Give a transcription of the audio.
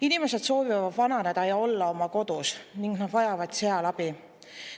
Inimesed soovivad vananedes olla oma kodus ning nad vajavad seal abi.